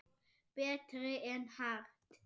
Betri en Hart?